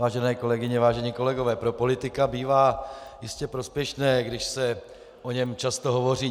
Vážené kolegyně, vážení kolegové, pro politika bývá jistě prospěšné, když se o něm často hovoří.